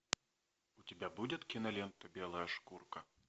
у тебя будет кинолента белая шкурка